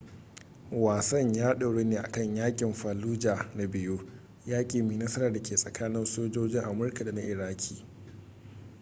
wasan ya doru ne akan yaƙin fallujah na biyu yaƙi mai nasara da ke tsakanin sojojin amurka da na iraki